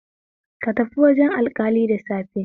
Ka tafi wajen alƙali da safe